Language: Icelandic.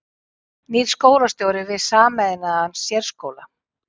Nýr skólastjóri við sameinaðan sérskóla